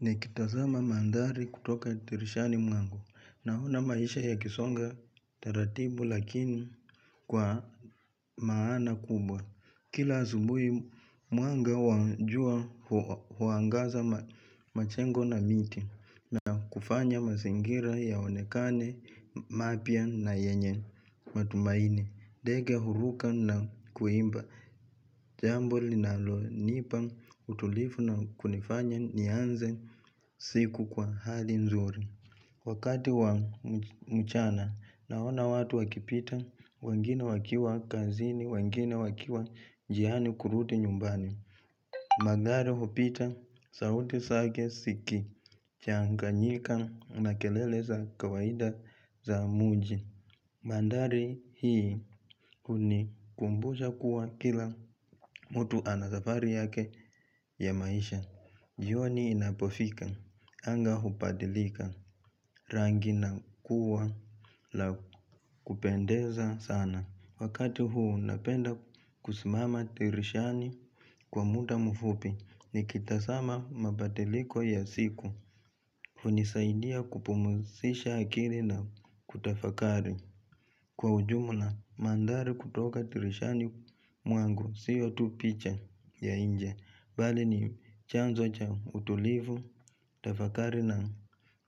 Nikitazama maandhari kutoka dirishani mwangu. Naona maisha yakisonga taratibu lakini kwa maana kubwa. Kila asubuhi mwanga wa jua huangaza majengo na miti na kufanya mazingira yaonekane, mapya na yenye matumaini. Tumaini, ndege huruka na kuimba, jambo linalo nipa utulivu na kunifanya nianze siku kwa hali nzuri. Wakati wa mchana, naona watu wakipita, wengine wakiwa kazini, wengine wakiwa njiani kurudi nyumbani. Magari hupita, sauti zake ziki, changanyika na kelele za kawaida za mji. Maandhari hii unikumbusha kuwa kila mtu anasafari yake ya maisha. Jioni inapofika. Anga hubadilika rangi na kuwa la kupendeza sana. Wakati huu napenda kusimama dirishani kwa muda mfupi. Nikitazama mabadiliko ya siku. Hunisaidia kupumzisha akili na kutafakari. Kwa ujumula maandhari kutoka dirishani mwangu siyo tu picha ya nje Bali ni chanzo cha utulivu Tafakari na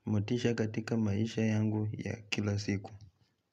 motisha katika maisha yangu ya kila siku.